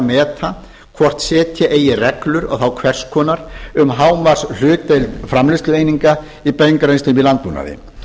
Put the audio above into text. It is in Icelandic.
meta hvort setja eigi reglur og þá hvers konar um hámarkshlutdeild framleiðslueininga í beingreiðslum í landbúnaði